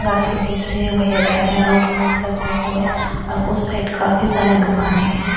गाड़ी की बीच से वही आ जा रहे है रोड क्रॉस करते करते हुए उस साइड काफी दुकाने है।